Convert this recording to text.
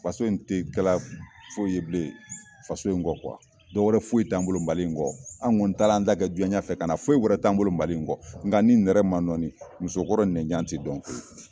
Faso in te kɛla foyi ye bilen faso in kɔ dɔ wɛrɛ foyi t'an bolo Mali in kɔ ,anw kɔni taa la an ta kɛ jiɲɛ ɲɛfɛ kana. Foyi wɛrɛ t'an bolo Mali in kɔ, nga ni nɛrɛ ma nɔɔni musokɔrɔ nɛn jan te dɔn.